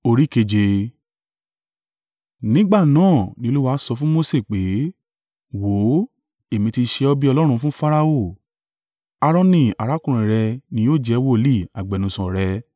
Nígbà náà ni Olúwa sọ fún Mose pé, “Wò ó, Èmi ti ṣe ọ bí Ọlọ́run fún Farao, Aaroni arákùnrin rẹ ni yóò jẹ́ agbẹnusọ rẹ.